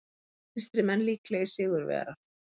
Vinstrimenn líklegir sigurvegarar